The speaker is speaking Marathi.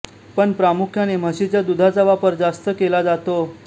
पण प्रामुख्याने म्हैसीच्या दूधाचा वापर जास्त केला जातो